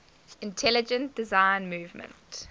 intelligent design movement